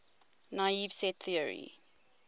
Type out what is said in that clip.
naive set theory